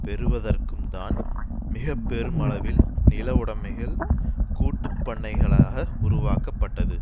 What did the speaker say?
பெறுவதற்கும்தான் மிக பெருமளவில் நில உடமைகள் கூட்டுப்பண்ணைகளாக உருவாக்கப்பட்டது